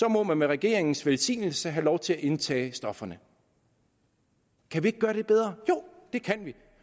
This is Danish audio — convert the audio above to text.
må man med regeringens velsignelse have lov at indtage stofferne kan vi ikke gøre det bedre jo det kan vi